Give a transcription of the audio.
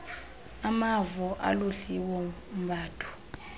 amavo aludliwo mbadu